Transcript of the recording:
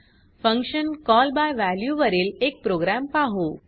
function call by value वरील एक program पाहू